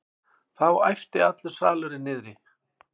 Þá æpti allur salurinn niðri.